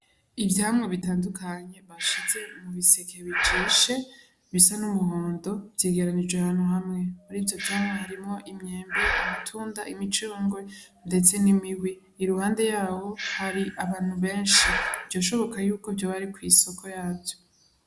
Ivyamwe bitandukanye bashize umubisekee bijishe bisa n'umuhondo vyigeranijwe hantu hamwe muri vyo vyamwa harimwo imyembe amatunda imicuronge, ndetse n'imiwi i ruhande yawo hari abantu benshi vyoshoboka yuko vyo bari kw'isoko yavyo.